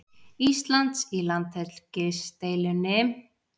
Íslands í landhelgisdeilunni.